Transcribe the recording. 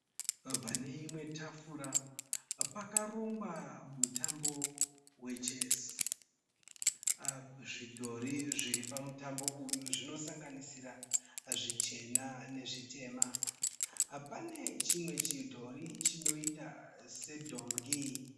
Paneimwe tafura pakarongwa mutambo wechesi. Zvidhori zviripamutambo uyu zvinosanganisira zvichena nezvitema. Pane chimwe chidhori chinoita sedhongi.